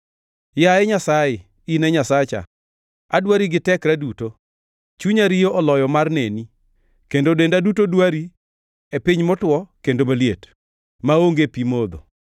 Yaye Nyasaye, in e Nyasacha, adwari gi tekra duto; chunya riyo oloyo mar neni kendo denda duto dwari, e piny motwo kendo maliet, maonge pi modho.